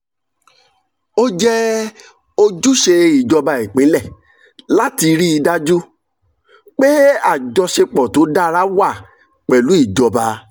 ó jẹ́ ojúṣe ìjọba ìpínlẹ̀ láti rí i dájú pé àjọṣepọ̀ tó dára wà pẹ̀lú ìjọba